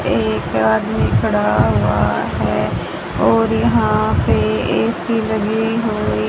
एक आदमी खड़ा हुआ है और यहां पे ए_सी लगी हुई --